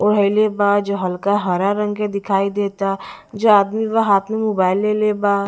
जो हल्का हरा रंग के दिखाई देता जू आदमी ब हाथ में मोबाइल लेले बा--